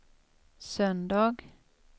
söndag